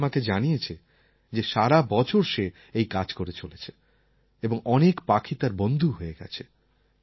অভি আমাকে জানিয়েছে সে সারা বছর এই কাজ করে চলেছে এবং অনেক পাখি তার বন্ধু হয়ে গেছে